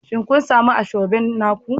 Shin kun sami Asoebi naku?